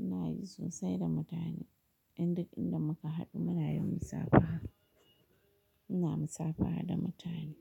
ina yi sosai da mutane. Indai inda muka haɗu muna yin musafaha. Ina musafaha da mutane.